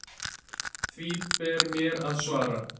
Því ber mér að svara.